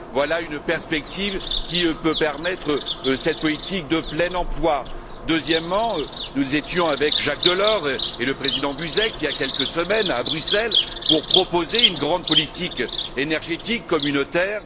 Voilà une perspective qui peut permettre cette politique de plein emploi. Deuxièmement, nous étions avec Jacques Delors et le Président Buzek, il y a quelques semaines, à Bruxelles pour proposer une grande politique énergétique communautaire.